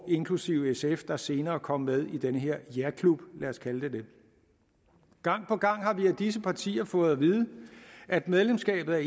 inklusive sf der senere kom med i den her jaklub lad os kalde den det gang på gang har vi af disse partier fået at vide at medlemskabet